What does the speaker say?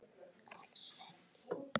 Alls ekki!